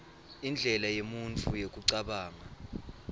indlela yemuntfu yekucabanga